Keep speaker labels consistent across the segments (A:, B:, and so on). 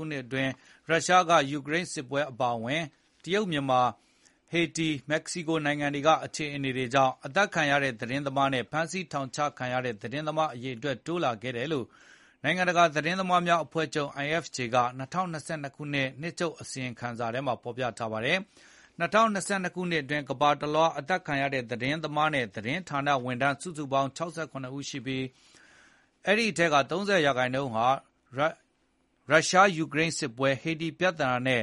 A: ုနှစ်အတွင်း ရုရှားယူကရိန်းစစ်ပွဲ အပါအဝင် တရုတ်၊ မြန်မာ၊ ဟေတီ၊ မက္ကဆီကိုနိုင်ငံတွေကအခြေအတွေကြောင့် အသတ်ခံရတဲ့ သတင်းသမားနဲ့ ဖမ်းဆီးထောင်ချခံရတဲ့ သတင်းသမား အရေအတွက်တိုးလာခဲ့တယ်လို့ နိုင်ငံတကာ သတင်းသမားများအဖွဲ့ချုပ် IFJ က ၂၀၂၂ ခုနှစ်- နှစ်ချုပ်အစီရင်ခံစာထဲမှာဖေါ်ပြထားပါတယ်။ ၂၀၂၂ ခုနှစ်အတွင်း ကမ္ဘာတလွှား အသတ်ခံရတဲ့ သတင်းသမားနဲ့ သတင်းဌာနဝန်ထမ်း စုစုပေါင်း ၆၇ ဦးရှိပြီး၊ အဲဒီ အထဲက ၃၀ ရာနှုန်းဟာ ရုရှားယူကရိန်းစစ်ပွဲ၊ ဟေတီပြဿနာနဲ့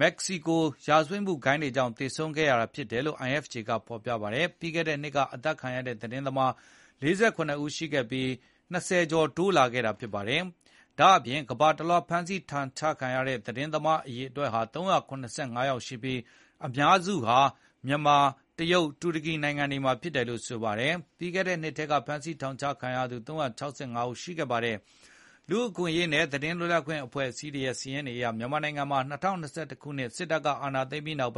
A: မက္ကဆီကို ရာဇဝတ်ဂိုဏ်းတွေကြောင့် သေဆုံးခဲ့ရ တာဖြစ်တယ်လို့ IFJ ကဖေါ်ပြပါတယ်။ ပြီးခဲ့တဲ့နှစ်က အသတ်ခံခဲ့ရတဲ့ သတင်းသမား ၄၇ ဦးရှိခဲ့ပြီး ၂၀ ကျော်တိုးလာခဲ့ပါတယ်။ ဒါ့အပြင်ကမ္ဘာတလွှား ဖမ်းဆီးထောင်ချခံရတဲ့ သတင်းသမား အရေအတွက်ဟာ ၃၇၅ ယောက်ရှိပြီး၊ အများစုဟာ မြန်မာ၊ တရုတ်နဲ့ တူရကီနိုင်ငံတွေမှာ ဖြစ်တယ်လို့ ဆိုပါတယ်။ ပြီးခဲ့တဲ့နှစ်က ဖမ်းဆီးထောင်ချခံရသူ ၃၆၅ ဦးရှိခဲ့ပါတယ်။ လူ့အခွင့်အရေးနဲ့ သတင်းလွတ်လပ်ခွင့် အဖွဲ့အစည်းတွေရဲ့ စာရင်းတွေအရ မြန်မာနိုင်ငံမှာ ၂၀၂၁ ခုနှစ်စစ်တပ်က အာဏာသိမ်းပြီးနောက်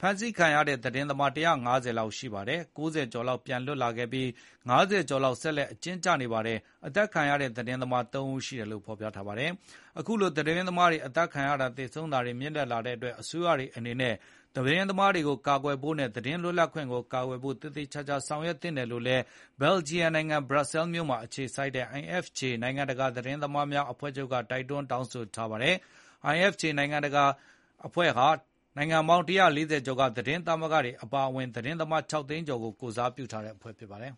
A: ဖမ်ဆီးခံခဲ့ရတဲ့ သတင်းသမား ၁၅၀ လောက်ရှိပါတယ် ။ ၉၀ ကျော်လောက် ပြန်လည်လွတ် မြောက်ခဲ့ပြီး ၅၀ ကျော်လောက် ဆက်လက်အကျဉ်းကျနေပါတယ်။ အသတ်ခံရတဲ့ သတင်းသမား ၃ ဦးရှိတယ်လိုဖေါ် ပြပါတယ်။ အခုလိုသတင်းသမားတွေ အသတ်ခံရတာ၊ သေဆုံးတာတွေမြင့်တက်လာတဲ့အတွက် အစိုးရတွေအနေနဲ့ သတင်း သမားတွေကိုကာကွယ်ဖို့နဲ့ သတင်းလွတ်လပ်ခွင့်ကို ကာကွယ်ဖို့ သေသေခြာခြာဆောင်ရွက်သင့်တယ်လို့လည်း ဘယ်လဂျီယံနိုင်ငံ ဘရပ်ဆဲလ် မြို့မှာ အခြေစိုက်တဲ့ IFJ နိုင်ငံတကာ သတင်းသမားများအဖွဲ့ချုပ်က တိုက်တွန်းတောင်းဆိုထားပါတယ်။ IFJ နိုင်ငံပေါင်း ၁၄၀ ကျော်က သတင်းသတင်းသမဂ္ဂတွေ အပါအဝင် သတင်းသမား ၆ သိန်းကျော်ကို ကိုယ်စားပြုထားတဲ့အဖွဲ့ဖြစ်ပါတယ်